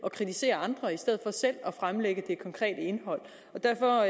at kritisere andre i stedet for selv at fremlægge det konkrete indhold og derfor